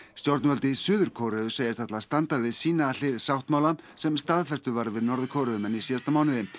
stjórnvöld í Suður Kóreu segjast ætla að standa við sína hlið sáttmála sem staðfestur var við Norður Kóreumenn í síðasta mánuði